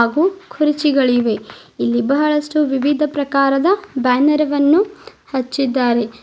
ಕ್ಕು ಕುರ್ಚಿಗಳಿವೆ ಇಲ್ಲಿ ಬಾಳಷ್ಟು ವಿವಿಧ ಪ್ರಕಾರದ ಬ್ಯಾನರ್ ವನ್ನು ಹಚ್ಚಿದ್ದಾರೆ.